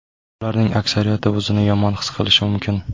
Ularning aksariyati o‘zini yomon his qilishi mumkin.